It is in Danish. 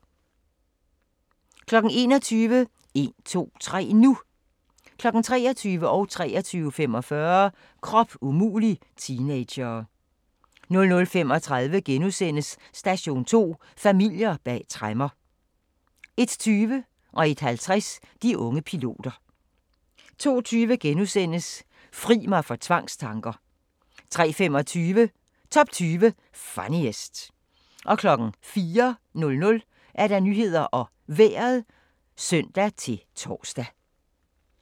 21:00: En-to-tre-nu! 23:00: Krop umulig – teenagere 23:45: Krop umulig – teenagere 00:35: Station 2: Familier bag tremmer * 01:20: De unge piloter 01:50: De unge piloter 02:20: Fri mig for tvangstanker! * 03:25: Top 20 Funniest 04:00: Nyhederne og Vejret (søn-tor)